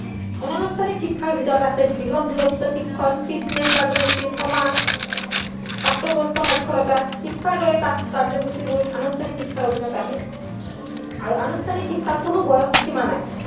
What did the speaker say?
আনুষ্ঠানিক শিক্ষাৰ ভিতৰত আছে গৃহ দূৰত্ব শিক্ষণ, ফিটনেছ কাৰ্যসূচী প্ৰাপ্তবয়স্ক সাক্ষৰতা শিক্ষাৰ দৰে কাৰ্যসূচীবোৰ আনুষ্ঠানিক শিক্ষাৰ অধীনত আহে আৰু আনুষ্ঠানিক শিক্ষাৰ কোনো বয়স সীমা নাই